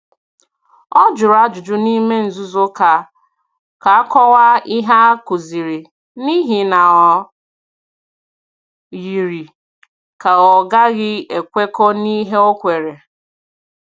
Ọ jụrụ ajụjụ n’ime nzuzo ka a kọwaa ihe a kụziri, n’ihi na o yiri ka ọ ghaghị ekwekọ n’ihe ọ kweere.